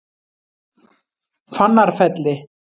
Fannarfelli